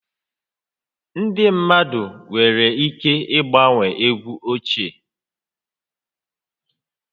Ndị mmadụ nwere ike gbanwee egwu ochie